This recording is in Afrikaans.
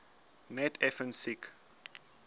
net effens siek